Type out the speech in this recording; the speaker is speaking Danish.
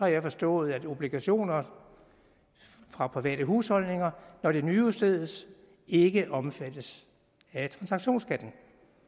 jeg forstået at obligationer fra private husholdninger når de nyudstedes ikke omfattes af transaktionsskatten